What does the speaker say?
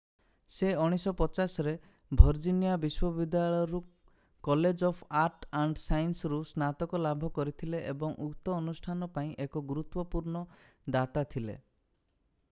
ସେ 1950 ରେ ଭର୍ଜିନିଆ ବିଶ୍ଵ ବିଦ୍ୟାଳୟରୁ college of arts and science ରୁ ସ୍ନାତକ ଲାଭ କରିଥିଲେ ଏବଂ ଉକ୍ତ ଅନୁଷ୍ଠାନ ପାଇଁ ଏକ ଗୁରୁତ୍ଵପୂର୍ଣ୍ଣ ଦାତା ଥିଲେ